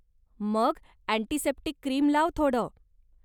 मग antiseptic cream लाव थोडं.